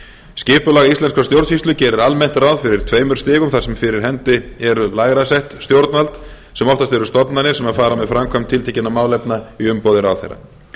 skipulag íslenskrar stjórnsýslu gerir almennt ráð fyrir tveimur stigum þar sem fyrir hendi eru lægra sett stjórnvöld sem oftast eru stofnanir sem fara með framkvæmd tiltekinna málefna í umboði ráðherra